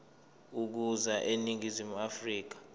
ukuza eningizimu afrika